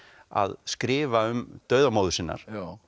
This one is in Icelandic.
að skrifa um dauða móður sinnar